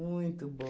Muito